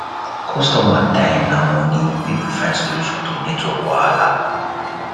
customer time na money make we find solution to network wahala